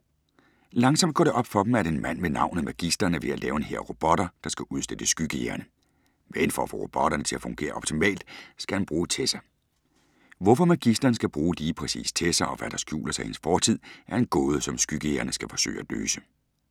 Langsomt går det op for dem, at en mand med navnet Magisteren er ved at lave en hær af robotter, der skal udslette skyggejægerne, men for at få robotterne til at fungere optimalt, skal han bruge Tessa. Hvorfor Magisteren skal bruge lige præcis Tessa og hvad der skjuler sig i hendes fortid, er en gåde som skyggejægerne skal forsøge at løse.